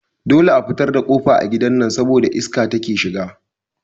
Dole a fitar da kofa a gidan nan saboda iska take shiga